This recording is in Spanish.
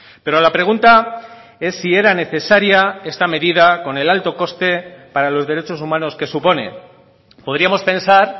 pero la pregunta es si era necesaria esta medida con el alto coste para los derechos humanos que supone podríamos pensar